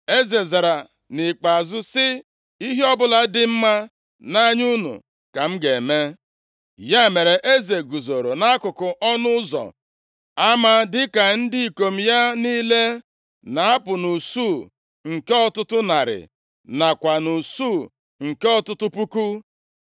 Eze zara nʼikpeazụ sị, “Ihe ọbụla dị mma nʼanya unu ka m ga-eme.” Ya mere, eze guzoro nʼakụkụ ọnụ ụzọ ama dịka ndị ikom ya niile na-apụ nʼusu nke ọtụtụ narị, nakwa nʼusu nke ọtụtụ puku.